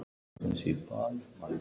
Déskoti fínt.